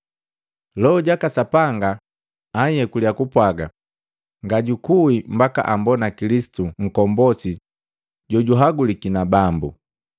Loho jaka Sapanga anhyekulya kupwaga ngajukui mbaka ambona Kilisitu Nkombosi jojuhaguliki na Bambu.